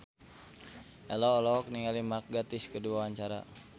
Ello olohok ningali Mark Gatiss keur diwawancara